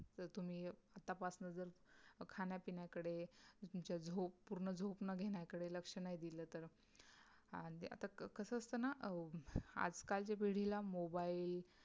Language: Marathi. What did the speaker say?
तर तम्हे तपास नज़र खाण्या पिण्या कडे तुमच्या झोप पूर्ण झोप घेण्याकडे लक्ष नाही दिले तर आणि आता कस असत ना आजकाल च्या पिढी ला mobile